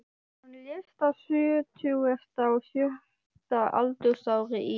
Hann lést á sjötugasta og sjötta aldursári í